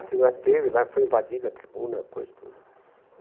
A tribuna teve né, foi invadida a tribuna, quase toda.